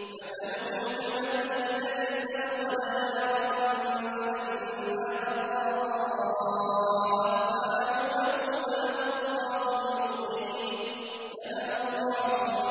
مَثَلُهُمْ كَمَثَلِ الَّذِي اسْتَوْقَدَ نَارًا فَلَمَّا أَضَاءَتْ مَا حَوْلَهُ ذَهَبَ